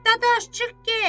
Dadaş, çıx get.